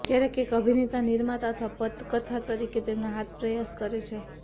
ક્યારેક એક અભિનેતા નિર્માતા અથવા પટકથા તરીકે તેમના હાથ પ્રયાસ કરે છે